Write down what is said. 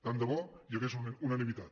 tant de bo hi hagués unanimitat